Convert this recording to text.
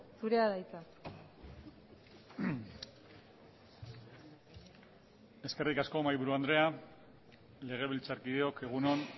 zurea da hitza eskerrik asko mahaiburu andrea legebiltzarkideok egun on